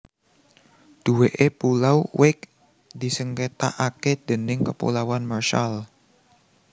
Duweke Pulau Wake disengketakake déning Kepulauan Marshall